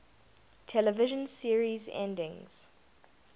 television series endings